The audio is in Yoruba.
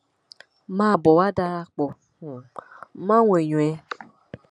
máa bọ wá darapọ um máwọn èèyàn ẹ